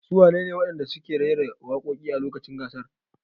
Su wane ne wadanda suke rera waƙoƙi a lokacin gasar?